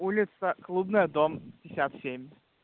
улица клубная дом пятьдесят семь